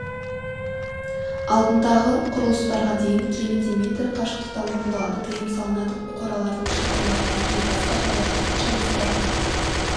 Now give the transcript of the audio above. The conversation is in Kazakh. алдындағы құрылыстарға дейін кемінде метр қашықтықта орындалады тыйым салынады қоралардың шатырларына және басқа шаруашылық құрылыстарына